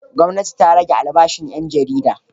Gwamnati ta rage albashin ƴan jarida.